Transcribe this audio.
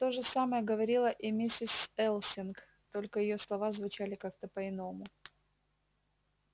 тоже самое говорила и миссис элсинг только её слова звучали как-то по-иному